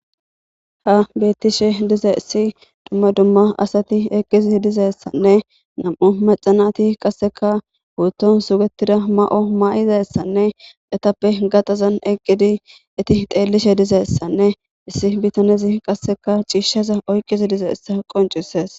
Ha beettishe dize issi dumma dumma asati eqqizi dizeessanne nam7u maxanati qasseka huutton sugetida ma7o ma7izaessanne etappe gaxazan eqqidi eti xeellishe dizeessanne issi bitanezi qasseka ciishshaza oyqqizi dizeessa qoncisees